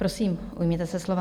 Prosím, ujměte se slova.